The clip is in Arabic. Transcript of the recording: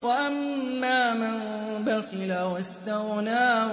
وَأَمَّا مَن بَخِلَ وَاسْتَغْنَىٰ